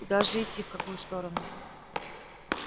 куда же идти в какую сторону